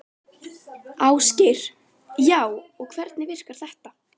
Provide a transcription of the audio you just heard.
Ásgeir: Já, og hvernig virkar þetta?